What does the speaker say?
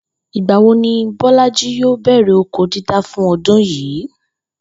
Ìgbà wo ni Bó̩lájí yòò bè̩rè̩ oko dídá fún o̩dún yìí?